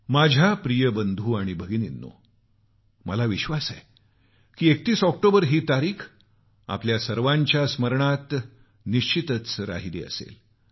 माझ्या प्रिय बंधू आणि भगिनीनो मला विश्वास आहे की 31 ऑक्टोबर ही तारीख आपल्या सर्वाना स्मरणात निश्चित राहिली असेल